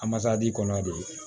Amasadi kɔnɔ de